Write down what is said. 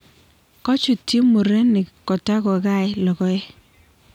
kochutyi mureniig kotag ko gai logoek